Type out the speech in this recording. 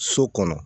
So kɔnɔ